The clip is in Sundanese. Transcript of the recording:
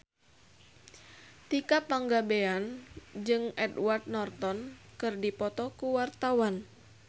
Tika Pangabean jeung Edward Norton keur dipoto ku wartawan